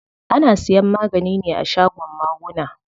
Ana siyan magani ne a shagon maguna.